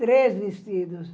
Três vestidos.